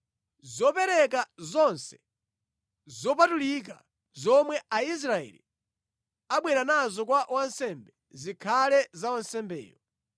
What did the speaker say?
Zopereka zonse zopatulika zomwe Aisraeli abwera nazo kwa wansembe zikhale za wansembeyo.